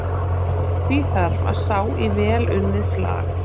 því þarf að sá í vel unnið flag